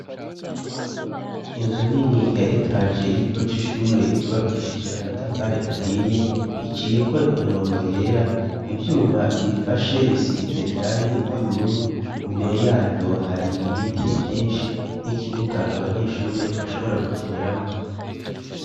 Inzu nini ya etaje y'ikigo c'ishure yubakishije amatafari ahiye iciyeko imirongo yera ivyuma biyifashe bisize irangi ry'ubururu ,imbere yaryo hari ibiti vyinshi n'ikibuga abanyeshure bashobora gukiniramwo